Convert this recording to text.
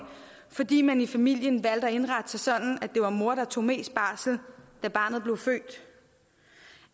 fordi man i familien valgte at indrette sig sådan at det var mor der tog mest barsel da barnet blev født